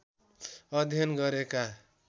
अध्ययन गरेका